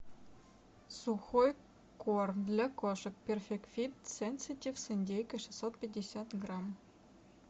сухой корм для кошек перфект фит сенситив с индейкой шестьсот пятьдесят грамм